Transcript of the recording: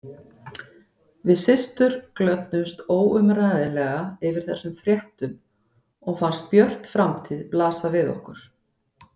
Við systur glöddumst óumræðilega yfir þessum fréttum og fannst björt framtíð blasa við okkur.